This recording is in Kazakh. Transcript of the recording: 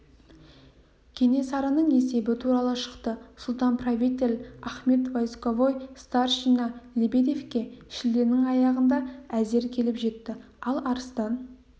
кенесарының есебі тура шықты сұлтан-правитель ахмет войсковой старшина лебедевке шілденің аяғында әзер келіп жетті ал арыстан